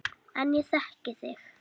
En ég þekki þig.